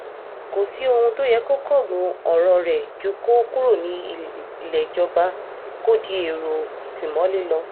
kò sí ohun tó yẹ kó kángun ọ̀rọ̀ rẹ̀ ju kó kúrò nílé ìjọba kó di èrò ìtìmọ́lé lọ